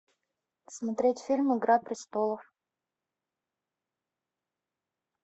смотреть фильм игра престолов